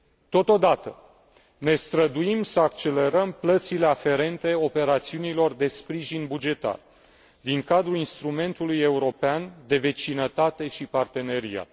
Totodată, ne străduim să accelerăm plățile aferente operațiunilor de sprijin bugetar din cadrul Instrumentului european de vecinătate și parteneriat.